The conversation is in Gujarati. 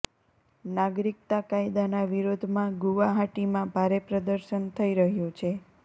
નાગરિકતા કાયદાના વિરોધમાં ગુવાહાટીમાં ભારે પ્રદર્શન થઇ રહ્યું છે